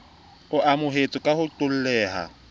o amohetsweng ka ho qoholleha